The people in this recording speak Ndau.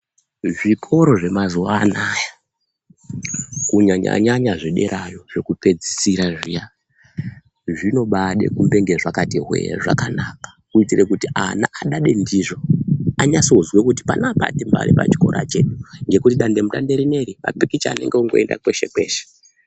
Zvikoro zvemazuwa anaya kunyanya nyanya zvederayo zvekupedzisira zviya zvinobaade kumbenge zvakati hwee zvakanaka kuitire kuti ana adade ndizvo anase kuzwe kuti panapa timbari pachikora chedu ngekuti dande mutande rineri mapikicha anenge oenda kweshe kweshe.